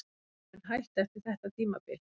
Ég mun hætta eftir þetta tímabil.